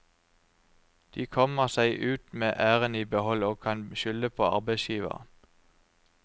De kommer seg ut med æren i behold og kan skylde på arbeidsgiveren.